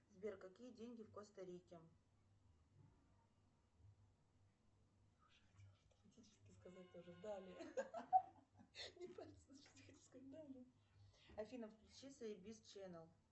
сбер какие деньги в коста рике афина включи заебись ченел